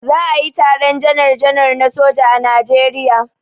Za a yi taron janar janar na soja a Najeriya.